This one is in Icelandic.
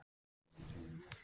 Það er ekki gert í dag.